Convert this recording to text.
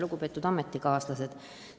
Lugupeetud ametikaaslased!